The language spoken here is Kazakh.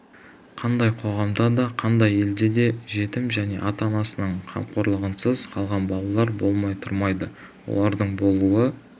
қандай қоғамда да қандай елде де жетім және ата-анасының қамқорлығынсыз қалған балалар болмай тұрмайды олардың болуы